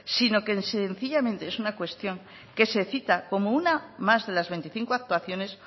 sino que sencillamente es una cuestión que se cita como una más de las veinticinco actuaciones